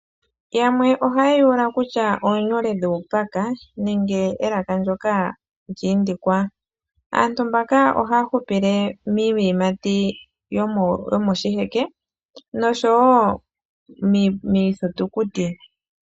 Yamwe ohaye ya ula kutya oonyule dhuupaka nenge elaka ndoka lyiindikwa. Aantu ohaya hupile miiyimati yo moshiheke noshowo miithitukuti.